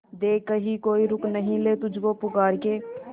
देख कहीं कोई रोक नहीं ले तुझको पुकार के